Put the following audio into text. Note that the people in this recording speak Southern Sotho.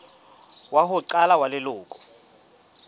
wa ho qala wa leloko